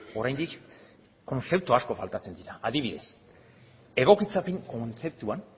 oraindik kontzeptu asko faltatzen dira adibidez egokitzapen kontzeptuan